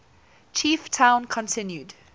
chief town continued